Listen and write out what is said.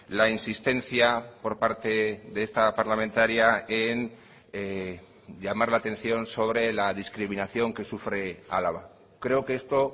la insistencia por parte de esta parlamentaria en llamar la atención sobre la discriminación que sufre álava creo que esto